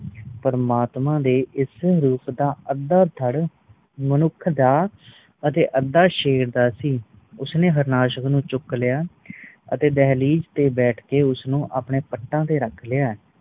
ਪ੍ਰਮਾਤਮਾ ਦੇ ਇਸ ਰੂਪ ਦਾ ਅੱਦਾ ਧੜ ਮਨੁੱਖ ਦਾ ਅਤੇ ਅਦਾ ਸ਼ੇਰ ਦਾ ਸੀ ਉਸ ਨੇ ਹਾਰਨਾਸ਼ਕ ਨੂੰ ਚੁੱਕ ਲਯਾ ਅਤੇ ਦਹਿਲੀਜ ਤੇ ਬੈਠ ਕ ਉਸ ਨੂੰ ਆਪਣੇ ਪੱਟਾ ਤੇ ਰੱਖ ਲਯਾ